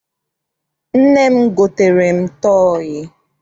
Nne m gotere m tọọyị.